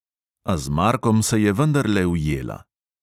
A z markom se je vendarle ujela.